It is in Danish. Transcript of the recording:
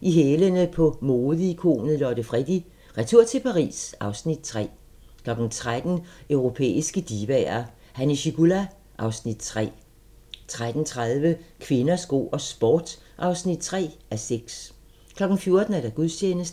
I hælene på modeikonet Lotte Freddie: Retur til Paris (Afs. 3) 13:00: Europæiske divaer – Hanna Schygulla (Afs. 3) 13:30: Kvinder, sko og sport (3:6) 14:00: Gudstjeneste